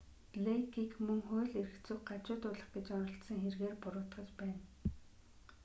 блэйкийг мөн хууль эрх зүйг гажуудуулах гэж оролдсон хэргээр буруутгаж байна